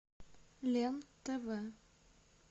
лен тв